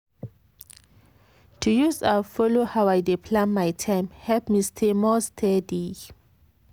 to use app follow how i dey plan my time help me stay more steady.